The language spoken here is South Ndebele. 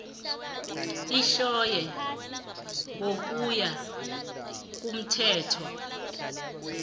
ehlonywe ngokuya komthetho